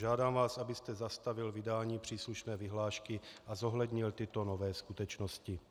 Žádám vás, abyste zastavil vydání příslušné vyhlášky a zohlednil tyto nové skutečnosti.